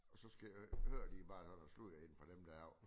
Og så skal hører de bare noget sludder inde fra dem der ovre